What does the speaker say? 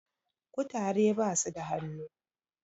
kutare basuda hannu